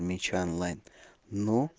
меч онлайн ну